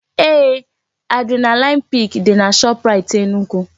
Eeh, adrenaline pik dị na Shoprait Enugu